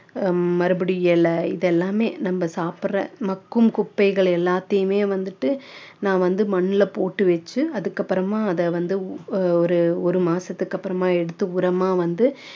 மறுபடியும் இலை இது எல்லாமே நம்ம சாப்பிடுற மக்கும் குப்பைகள் எல்லாதையுமே வந்துட்டு நான் வந்து மண்ணுல போட்டு வச்சு அதுக்கப்புறமா அதை வந்து ஒரு ஒரு மாசத்துக்கு அப்பறமா எடுத்து உரமா வந்து